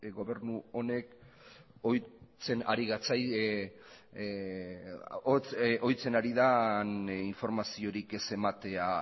gobernu honek ohitzen ari den informaziorik ez ematea